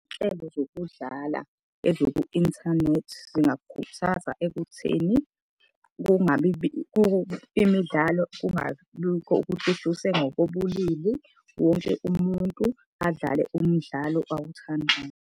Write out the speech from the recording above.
Zokudlala eziku-inthanethi zingakukhuthaza ekutheni imidlalo kungabikho ngokobulili. Wonke umuntu adlale umdlalo awuthandayo.